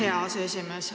Aitäh, hea aseesimees!